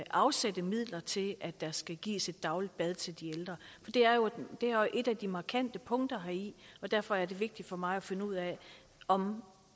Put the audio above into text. afsætte midler til at der skal gives et dagligt bad til de ældre det er et af de markante punkter heri og derfor er det vigtigt for mig at finde ud af om